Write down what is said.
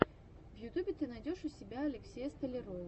в ютубе ты найдешь у себя алексея столярова